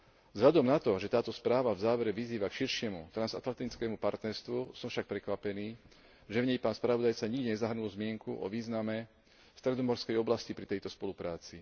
Vzhľadom na to, že táto správa v závere vyzýva na širšie transatlantické partnerstvo, som však prekvapený, že v nej pán spravodajca nikde nezahrnul zmienku o význame stredomorskej oblasti pri tejto spolupráci.